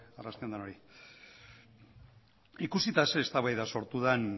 arrasti on denoi ikusita zer eztabaida sortu den